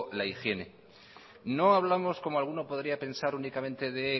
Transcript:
la higiene no hablamos como alguno podría pensar únicamente de